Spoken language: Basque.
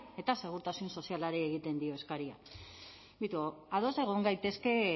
eta segurtasun sozialari egiten dio eskaria beitu ados egon gaitezke